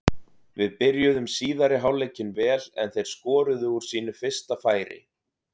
Við byrjuðum síðari hálfleikinn vel en þeir skoruðu úr sínu fyrsta færi.